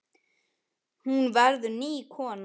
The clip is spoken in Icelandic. Hún verður ný kona.